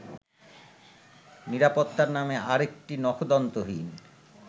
নিরাপত্তার নামে আরেকটি নখদন্তহীন